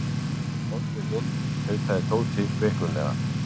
Komdu inn tautaði Tóti veiklulega.